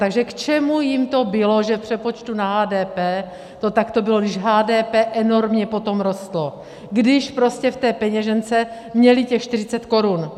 Takže k čemu jim to bylo, že v přepočtu na HDP to takto bylo, když HDP enormně potom rostlo, když prostě v té peněžence měli těch 40 korun?